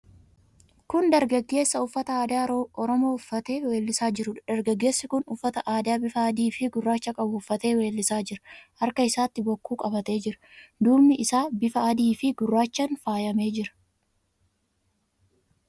Kun dargaggeessa uffata aadaa Oromoo uffatee weellisaa jiruudha. Dargaggeessi kun uffata aadaa bifa adiifi gurraacha qabu uffatee weellisaa jira. Harka isaatti bokkuu qabatee jira. Duubni isaa bifa adiifi gurraachaan faayamee jira.